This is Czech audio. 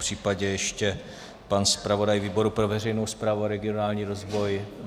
Popřípadě ještě pan zpravodaj výboru pro veřejnou zprávu a regionální rozvoj?